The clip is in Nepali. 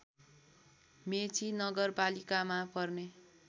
मेची नगरपालिकामा पर्ने